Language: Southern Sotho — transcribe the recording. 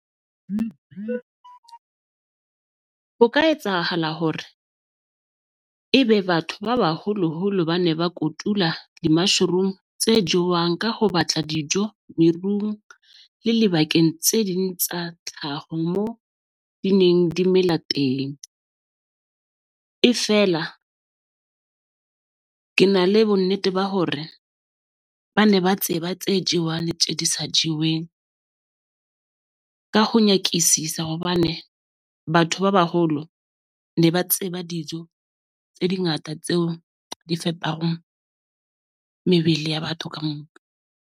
Ho ka etsahala hore ebe batho ba baholoholo ba ne ba kotula di-mushroom tse jewang ka ho batla dijo merung le lebakeng tse ding tsa tlhaho moo di neng di mela teng. Efela ke na le bonnete ba hore ba ne ba tseba tse jewang tje di sa jeweng. Ka ho nyakisisa hobane batho ba baholo ne ba tseba dijo tse dingata tseo di fepang mebele ya batho kamoka.